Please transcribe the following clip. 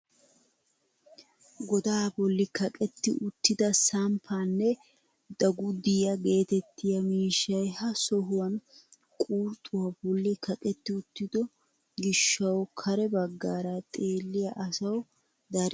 Godaa bolli kaqetti uttida samppaanne dagudiyaa getettiyaa miishshay ha sohuwaan quruxuwaa bolli kaqetti uttiido gishshawu kare baggaara xeelliyaa asawu darin beettena.